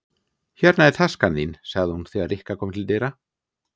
Hérna er taskan þín sagði hún þegar Rikka kom til dyra.